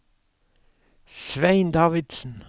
Svein Davidsen